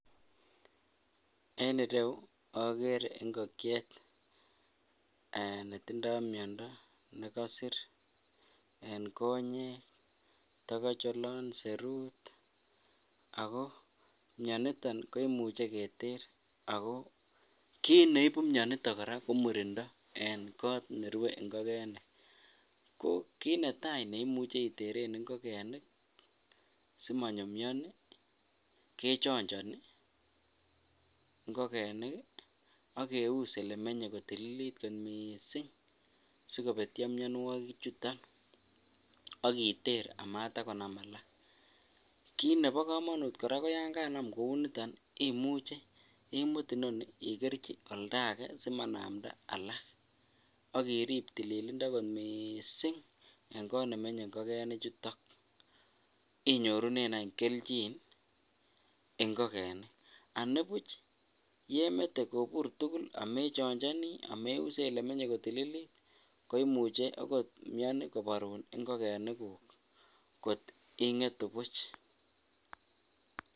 En ireyu okere ing'okiet netindo miondo nekosir en konyek tikoch oloon serut ak ko mioniton koimuche Keter ak ko kiit neibu mioniton ko murindo en koot nerue ing'okenik, kiit netaa neimuche iteren ing'okenik simonyo mioni kechonjoni ing'okenik ak keus elements kotililit komnye kot mising sikobetyo mionwokik chuton ak iteer amatakonam alak, kiit nebo komonut kora ko yoon kanam kouniton imuche imut inoniton ikerchi oldake simanamda alak ak iriib tililindo kot mising en koot nemenye ingokenichuton inyorunen any kelchin ing'okenik, anibuch yemete kobur tukul amechonjoni ameuse olerwe kotililit koimuche okot mioni koborun ing'okenikuk kot ingetu buch.